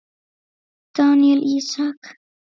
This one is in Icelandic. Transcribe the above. Daníel Ísak.